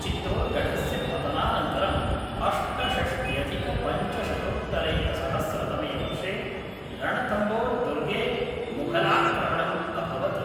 चित्तोर्गढस्य पतनानन्तरं अष्टषष्ट्यधिकपञ्चशतोत्तरैकसहस्रतमे वर्षे रणथम्बोर् दुर्गे मुघलाक्रमणम् अभवत्।